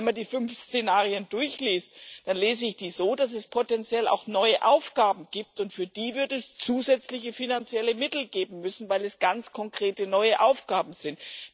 Und wenn man die fünf Szenarien durchliest, dann lese ich die so, dass es potenziell auch neue Aufgaben gibt, und für die wird es zusätzliche finanzielle Mittel geben müssen, weil es ganz konkrete neue Aufgaben sind.